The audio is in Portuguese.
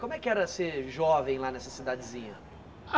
Como é que era ser jovem lá nessa cidadezinha?